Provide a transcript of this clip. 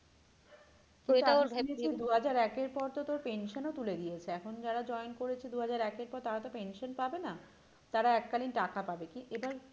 তো ওইটা আমি দুহাজার একের পর তো তোর pension ও তুলে দিয়েছে এখন যারা join করেছে দুহাজার একের পর তারা তো pension পাবে না তারা এককালীন টাকা পাবে কি